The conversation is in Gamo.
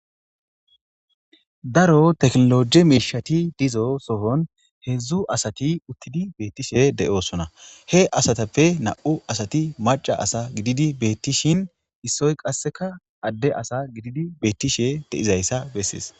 Daro tekinolooge miishshati dizasoni heedzdzu asati uttidi beettishe doosona he asatippe nam7u asati macca asa gididi beettishin issoy qasse adde asa gididaysa bessees.